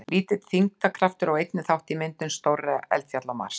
Lítill þyngdarkraftur á einnig þátt í myndum stórra eldfjalla á Mars.